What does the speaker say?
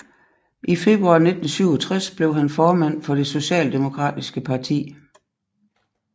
I februar 1967 blev han formand for det socialdemokratiske parti